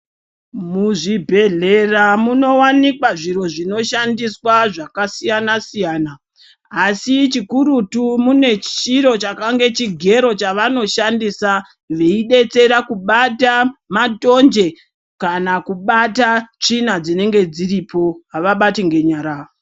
Muzvibhedhlera munowanikwa zviro zvinoshandiswa zvakasiyana siyana asi chikururtu mune chiro chakange chigero chavanoshabdisa veidetsera kubata matonje kana kubata tsvina dzinenge dziripo avabti ngenyara.